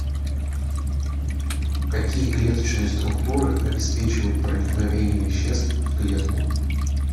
какие клеточные структуры обеспечивают проникновение веществ в клетку